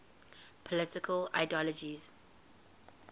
political ideologies